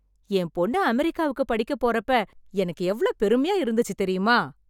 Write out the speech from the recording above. என் பொண்ணு அமெரிக்காவுக்கு படிக்கப் போறப்ப எனக்கு எவ்ளோ பெருமையா இருந்துச்சுத் தெரியுமா?